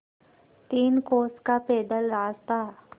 तीन कोस का पैदल रास्ता